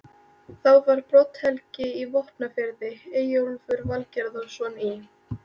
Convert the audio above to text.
Þá var Brodd-Helgi í Vopnafirði, Eyjólfur Valgerðarson í